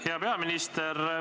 Hea peaminister!